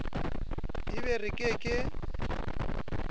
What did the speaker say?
e be re ke ke